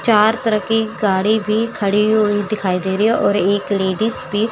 चार तरह की गाड़ी भी खड़ी हुई दिखाई दे रही है और एक लेडिस भी--